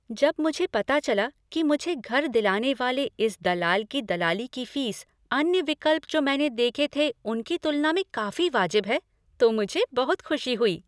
जब मुझे पता चला कि मुझे घर दिलाने वाले इस दलाल की दलाली की फ़ीस अन्य विकल्प जो मैंने देखे थे, उनकी तुलना में काफ़ी वाजिब है तो मुझे बहुत खुशी हुई।